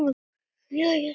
Jæja, drengir mínir!